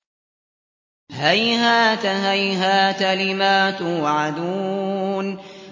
۞ هَيْهَاتَ هَيْهَاتَ لِمَا تُوعَدُونَ